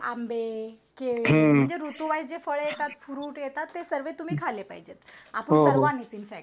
आंबे केली म्हणजे ऋतू वी वाईस जे फळ येतात फ्रुट येतात ते तुम्ही सर्वे तुम्ही खाले पाहिजे आपण सर्वांनीच इन फअक्त